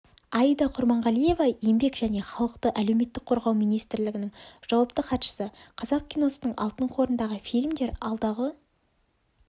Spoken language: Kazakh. аида құрманғалиева еңбек және халықты әлеуметтік қорғау министрлігінің жауапты хатшысы қазақ киносының алтын қорындағы фильмдер алдағы